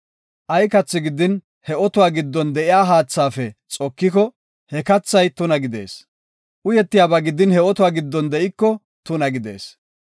Ay kathi gidin he otuwa giddon de7iya haathaafe xokiko, he kathay tuna gidees; uyetiyaba gidin, he otuwa giddon de7iko tuna gidees.